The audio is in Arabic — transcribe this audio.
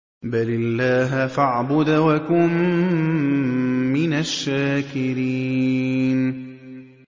بَلِ اللَّهَ فَاعْبُدْ وَكُن مِّنَ الشَّاكِرِينَ